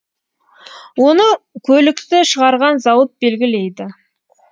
оны көлікті шығарған зауыт белгілейді